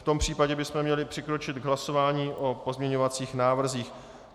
V tom případě bychom měli přikročit k hlasování o pozměňovacích návrzích.